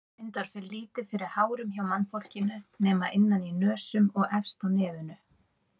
Reyndar fer lítið fyrir hárum hjá mannfólkinu nema innan í nösum og efst á nefinu.